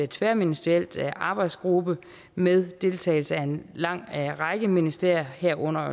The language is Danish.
tværministeriel arbejdsgruppe med deltagelse af en lang række ministerier herunder